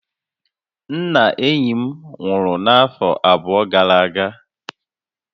Nna enyi m nwuru n'afo abụọ gara aga